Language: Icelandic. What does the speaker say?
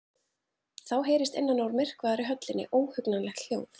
Þá heyrist innan úr myrkvaðri höllinni óhugnanlegt hljóð.